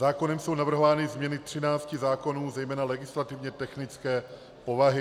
Zákonem jsou navrhovány změny 13 zákonů, zejména legislativně technické povahy.